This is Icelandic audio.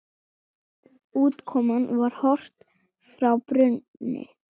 Útkoman var Horft frá brúnni.